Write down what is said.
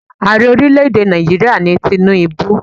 Ààrẹ ọrílẹ̀ èdè Nàìjíríà ni Tinubu.